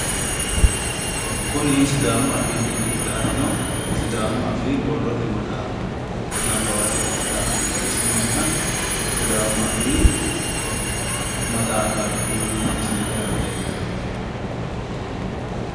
kuni sidaamu afiinni qixaawino sidaamu affii borrote maxaafaati nabbawate qixxeessinoonniha sidaamu afii maxaafaati kuni misilete aana leellannohu.